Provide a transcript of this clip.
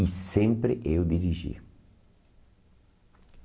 E sempre eu dirigia.